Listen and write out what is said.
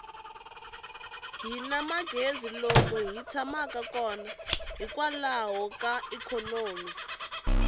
hini magezi lomu hi tshamaka kona hikwalaho ka ikhonomi